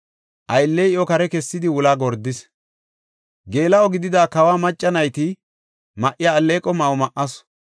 Aylley iyo kare kessidi wulaa gordis. Geela7o gidida kawo macca nayti ma7iya alleeqo ma7o ma7asu.